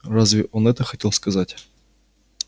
разве он это хотел сказать